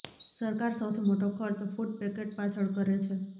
સરકાર સૌથી મોટો ખર્ચ ફુડ પેકેટ પાછળ કરે છે